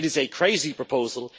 It is a crazy proposal.